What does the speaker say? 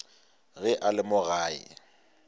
ge a le mo gae